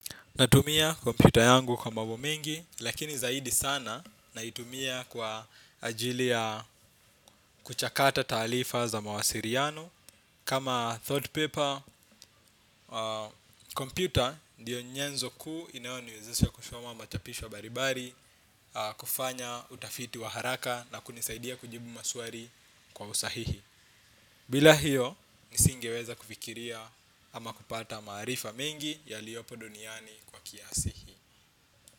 Natumia kompyuta yangu kwa mambo mengi, lakini zaidi sana naitumia kwa ajili ya kuchakata taarifa za mawasiliano. Kama thought paper, kompyuta ndiyo nyenzo kuu inayoniwezesha kusoma machapisho mbali mbali, kufanya utafiti wa haraka na kunisaidia kujibu maswali kwa usahihi. Bila hiyo, nisingeweza kufikiria ama kupata maarifa mengi yaliopo duniani kwa kiasi hiki.